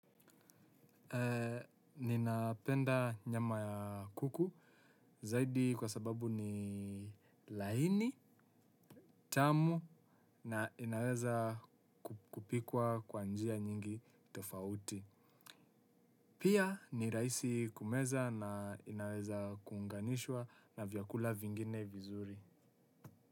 Ninapenda nyama ya kuku zaidi kwa sababu ni laini, tamu na inaweza kupikwa kwa njia nyingi tofauti. Pia ni rahisi kumeza na inaweza kuunganishwa na vyakula vingine vizuri.